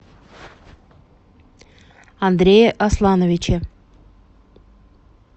андрее аслановиче